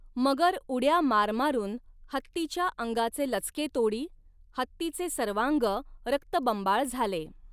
मगर उड्या मारमारुन हत्तीच्या अंगाचे लचके तोडी, हत्तीचे सर्वांग रक्तबंबाळ झाले.